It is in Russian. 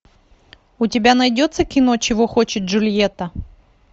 у тебя найдется кино чего хочет джульетта